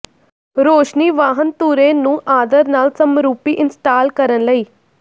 ਰੌਸ਼ਨੀ ਵਾਹਨ ਧੁਰੇ ਨੂੰ ਆਦਰ ਨਾਲ ਸਮਰੂਪੀ ਇੰਸਟਾਲ ਕਰਨ ਲਈ